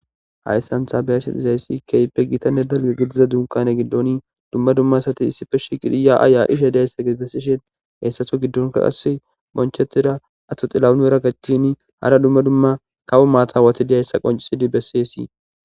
hayssantha beyashe izayssi keype gitanne dale gidiza dunkane giddon dumma dumma sati issife shiqidiya aya ishe deysse g bessishen heessatho giddonka qass bonchetira atto xillawunera gachini hara dumma dumma kawo maata watidihayssa qoncisidi bessiyesii